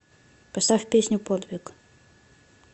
поставь песню подвиг